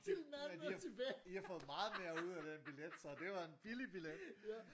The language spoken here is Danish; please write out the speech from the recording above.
Men i i har fået meget mere ud af den billet så det var en billig billet